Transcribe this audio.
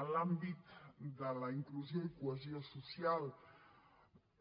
en l’àmbit de la inclusió i cohesió social